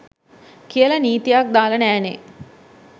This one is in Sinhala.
කියල නීතියක් දාල නෑනෙ.